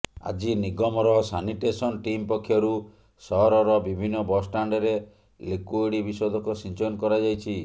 ଆଜି ନିଗମର sanitation team ପକ୍ଷରୁ ସହରର ବିଭିନ୍ନ ବସ୍ ଷ୍ଟାଣ୍ଡରେ ଲିକୁଇଡ୍ ବିଶୋଧକ ସିଞ୍ଚନ କରାଯାଇଛି